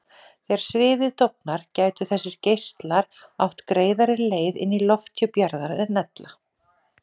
Þegar sviðið dofnar gætu þessir geislar átt greiðari leið inn í lofthjúp jarðar en ella.